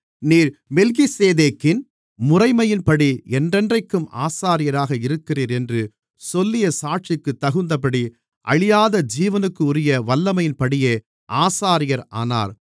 நீர் மெல்கிசேதேக்கின் முறைமையின்படி என்றென்றைக்கும் ஆசாரியராக இருக்கிறீர் என்று சொல்லிய சாட்சிக்குத் தகுந்தபடி அழியாத ஜீவனுக்குரிய வல்லமையின்படியே ஆசாரியர் ஆனார்